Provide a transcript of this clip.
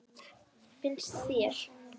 Finnst þér?